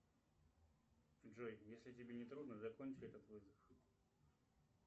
джой если тебе не трудно закончи этот вызов